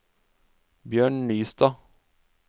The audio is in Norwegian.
Bjørn Nystad